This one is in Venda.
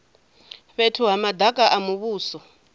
fhethu ha madaka a muvhuso